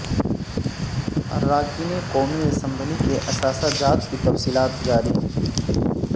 اراکین قومی اسبلی کے اثاثہ جات کی تفصیلات جاری